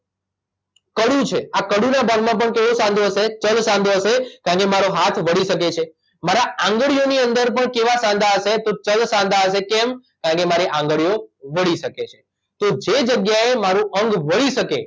કડું છે આ કડુંના ભાગ માં પણ કેવો સાંધો હશે ચલ સાંધો હશે કારણકે મારો હાથ વળી શકે છે મારાં આંગળીઓની અંદર પણ કેવા સાંધા હશે તો ચલ સાંધા હશે કેમ કારણકે મારી આંગળીઓ વળી શકે છે તો જે જગ્યાએ મારું અંગ વળી શકે